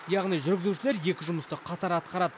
яғни жүргізушілер екі жұмысты қатар атқарады